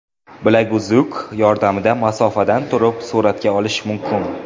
Bilaguzuk yordamida masofadan turib suratga olish mumkin.